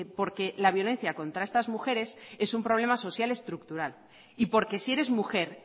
porque la violencia contra estas mujeres es un problema social estructural y porque si eres mujer